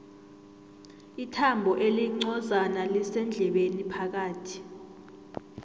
ithambo elincozana lisendlebeni phakathi